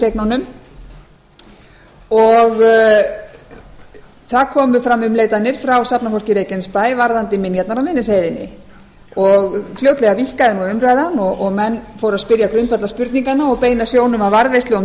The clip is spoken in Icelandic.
varnarliðseignunum og það komu fram umleitanir frá safnafólki í reykjanesbæ varðandi minjarnar á miðnesheiðinni fljótlega víkkaði umræðan og menn fóru að spyrja grundvallarspurninga og beina sjónum að varðveislu á